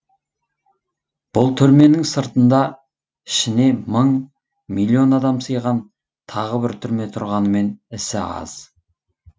бұл түрменің сыртында ішіне мың миллион адам сыйған тағы бір түрме тұрғанымен ісі аз